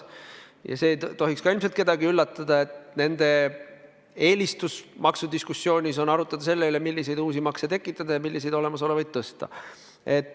Ja see ei tohiks ka kedagi üllatada, et nende eelistus maksudiskussioonis on arutada selle üle, milliseid uusi makse tekitada ja milliseid olemasolevaid tõsta.